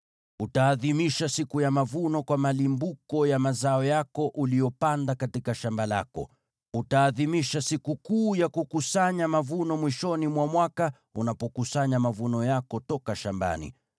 “Utaadhimisha Sikukuu ya Mavuno kwa malimbuko ya mazao yako uliyopanda katika shamba lako. “Utaadhimisha Sikukuu ya Kukusanya mavuno mwishoni mwa mwaka, unapokusanya mavuno yako toka shambani.